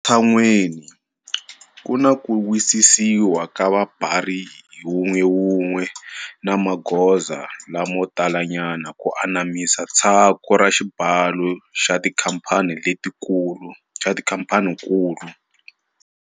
Ematshan'weni, ku na ku wisisiwa ka vabari hi wun'wewun'we na magoza lamo talanyana ku anamisa tshaku ra xibalo ka tikhamphanikulu.